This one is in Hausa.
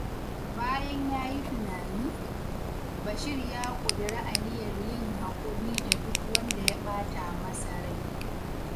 Bayan ya yi tunani, Bashir ya ƙudiri aniyar yin haƙuri da duk wanda ya ɓata masa rai.